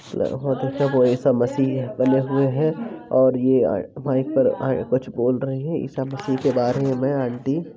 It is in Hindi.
ईसा मसीह बने हुए है और ये कछु बोल रही है ईसा मसीह के बारे मे बह आंटी --